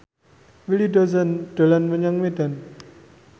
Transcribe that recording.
Willy Dozan dolan menyang Medan